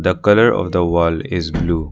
The colour of the wall is blue.